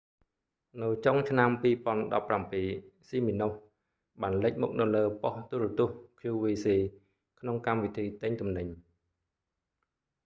នៅចុងឆ្នាំ2017 siminoff បានលេចមុខនៅលើបុស្តិ៍ទូរទស្សន៍ qvc ក្នុងកម្មវិធីទិញទំនិញ